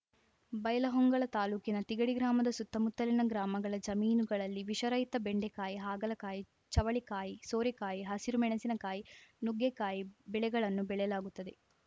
ಬೈಲಹೊಂಗಲ ತಾಲೂಕಿನ ತಿಗಡಿ ಗ್ರಾಮದ ಸುತ್ತಮುತ್ತಲಿನ ಗ್ರಾಮಗಳ ಜಮೀನುಗಳಲ್ಲಿ ವಿಷರಹಿತ ಬೆಂಡೇಕಾಯಿ ಹಾಗಲಕಾಯಿ ಚವಳಿಕಾಯಿ ಸೋರೆಕಾಯಿ ಹಸಿರು ಮೆಣಸಿನಕಾಯಿ ನುಗ್ಗೇಕಾಯಿ ಬೆಳೆಗಳನ್ನು ಬೆಳೆಯಲಾಗುತ್ತದೆ